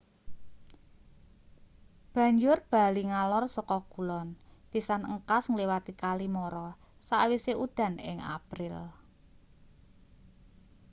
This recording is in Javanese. banjur bali ngalor saka kulon pisan engkas ngliwati kali mara sakwise udan ing april